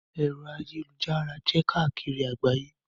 Ẹ̀rọ ayélujára jẹ́ káàkiri àgbáyé.